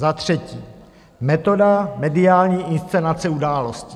Za třetí metoda mediální inscenace událostí.